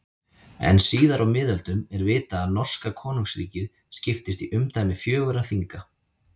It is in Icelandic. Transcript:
En síðar á miðöldum er vitað að norska konungsríkið skiptist í umdæmi fjögurra þinga.